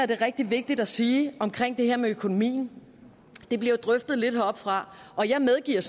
det er rigtig vigtigt at sige omkring det her med økonomien det blev drøftet lidt heroppefra og jeg medgiver